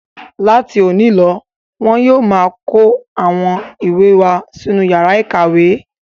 Láti òní lọ wọn yóò máa kó àwọn ìwé wá sínú ìyàrá-ìkàwé.